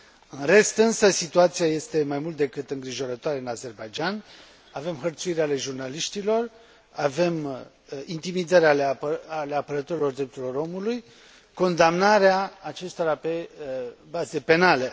În rest, însă, situația este mai mult decât îngrijorătoare în Azerbaidjan, avem hărțuiri ale jurnaliștilor, avem intimidări ale apărătorilor drepturilor omului, condamnarea acestora pe baze penale.